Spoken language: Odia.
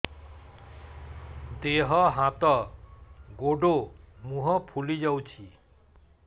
ଦେହ ହାତ ଗୋଡୋ ମୁହଁ ଫୁଲି ଯାଉଛି